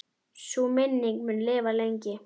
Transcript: Sú minning mun lifa lengi.